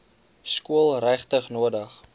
skool regtig nodig